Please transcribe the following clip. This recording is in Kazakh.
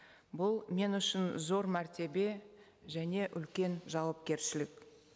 бұл мен үшін зор мәртебе және үлкен жауапкершілік